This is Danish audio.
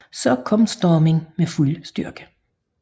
Så kom stormen med fuld styrke